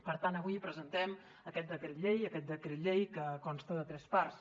per tant avui presentem aquest decret llei que consta de tres parts